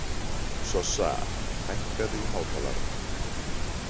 Sossa, hækkaðu í hátalaranum.